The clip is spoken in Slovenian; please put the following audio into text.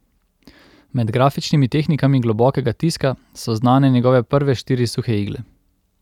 Med grafičnimi tehnikami globokega tiska so znane njegove prve štiri suhe igle.